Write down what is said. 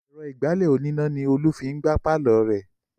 Èrò ìgbálẹ̀ oníná ni Olú fi ń gbá pàlọ́ rẹ̀